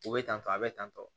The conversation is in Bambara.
U bɛ tantɔ a bɛ tantɔ